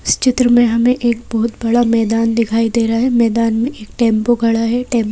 इस चित्र में हमें एक बहुत बड़ा मैदान दिखाई दे रहा है मैदान में एक टेंपो खड़ा है टेंपो--